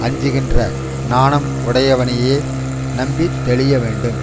அஞ்சுகின்ற நாணம் உடையவனையே நம்பி தெளிய வேண்டும்